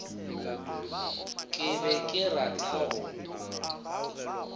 ke be ke rata go